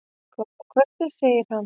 Góða kvöldið, segir hann.